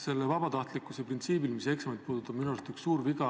Sellel vabatahtlikkuse printsiibil, mis eksameid puudutab, on minu arust üks suur viga.